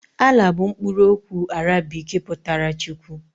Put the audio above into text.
Allah bụ mkpụrụ okwu Arabik pụtara Chukwu.